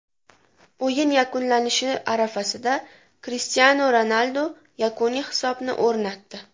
O‘yin yakunlanishi arafasida Krishtianu Ronaldu yakuniy hisobni o‘rnatdi.